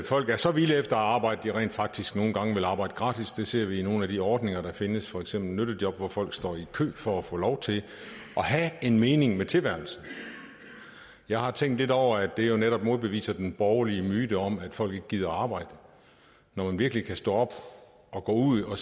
folk er så vilde efter at arbejde at de rent faktisk nogle gange vil arbejde gratis det ser vi med nogle af de ordninger der findes for eksempel nyttejob hvor folk står i kø for at få lov til at have en mening med tilværelsen jeg har tænkt lidt over at det jo netop modbeviser den borgerlige myte om at folk ikke gider arbejde når man virkelig kan stå op og gå ud og